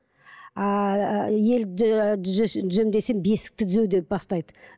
ааа ел түзеймін десең бесікті түзе деп бастайды